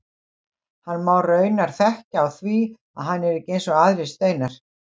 Hann má raunar þekkja á því að hann er ekki eins og aðrir steinar.